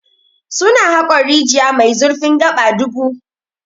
Su na haƙon rijiya mai zurfin gaba dubu.